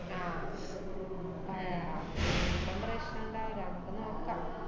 ആഹ് ആഹ് അപ്പം പ്രശ്നണ്ടാവില്ല, അമ്മക്ക് നോക്കാ~